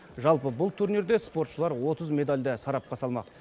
жалпы бұл турнирде спортшылар отыз медальді сарапқа салмақ